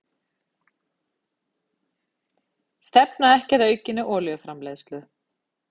Stefna ekki að aukinni olíuframleiðslu